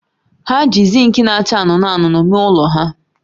Ha ji zinki na-acha anụnụ anụnụ mee ụlọ ha